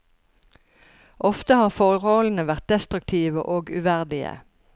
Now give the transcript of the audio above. Ofte har forholdene vært destruktive og uverdige.